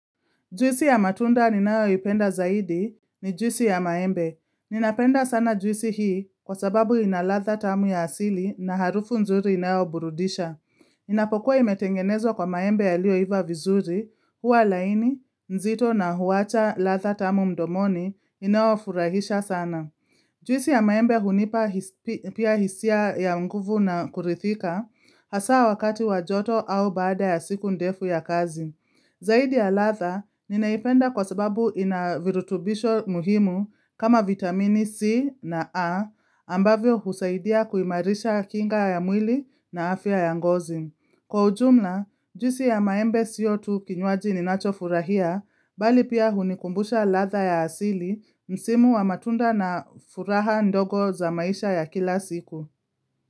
Juisi ya matunda ninayo ipenda zaidi ni juisi ya maembe. Ninapenda sana juisi hii kwa sababu inaladha tamu ya asili na harufu nzuri inayoburudisha. Inapokuwa imetengenezwa kwa maembe yaliyoiva vizuri, huwa laini, nzito na huwacha ladha tamu mdomoni inaofurahisha sana. Juisi ya maembe hunipa pia hisia ya nguvu na kurithika hasa wakati wajoto au baada ya siku ndefu ya kazi. Zaidi ya ladha, ninaipenda kwa sababu inavirutubisho muhimu kama vitamini C na A ambavyo husaidia kuimarisha kinga ya mwili na afya ya ngozi. Kwa ujumla, juisi ya maembe sio tu kinywaji ninacho furahia, mbali pia hunikumbusha ladha ya asili msimu wa matunda na furaha ndogo za maisha ya kila siku.